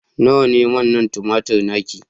nawa ne manna tumatir naki